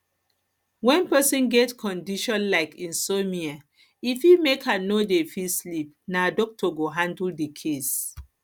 when person get condition like insomnia e fit make am no dey fit sleep na doctor go handle di case